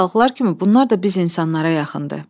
Qanadlı balıqlar kimi bunlar da biz insanlara yaxındır.